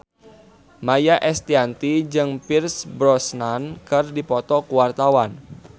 Maia Estianty jeung Pierce Brosnan keur dipoto ku wartawan